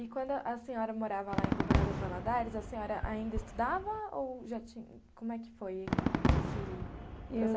E quando a senhora morava lá em Governador Valadares, a senhora ainda estudava ou já tinha, como é que foi esse...